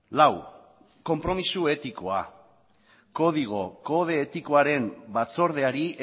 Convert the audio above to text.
lau konpromiso etikoa kode etikoaren batzordeari